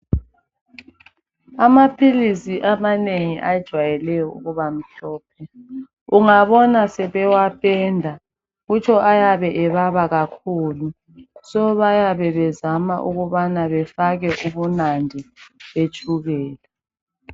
Amaphilisi amanengi ajwayelweyo ukubamhlophe ungabona sebewaphenda kutsho ayabe ebaba kakhulu so bayabe bezama ukubana befake ubunandi betshukela